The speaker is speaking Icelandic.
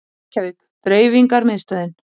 Reykjavík: Dreifingarmiðstöðin.